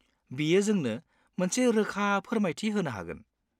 बियो जोंनो मोनसे रोखा फोरमायथि होनो हागोन।